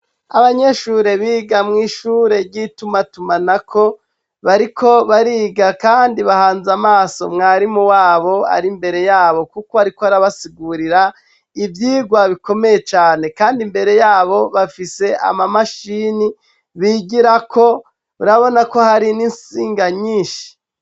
Abanyeshure biga mw'ishure ry'itumatumanako, bariko bariga kandi bahanze amaso mwarimu wabo ari mbere yabo kuko ariko arabasigurira, ivyigwa bikomeye cane kandi imbere yabo bafise amamashini bigirako, urabona ko hari n'insinga nyinshi.